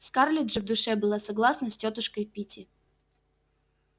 скарлетт же в душе была согласна с тётушкой питти